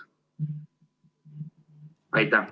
Aitäh!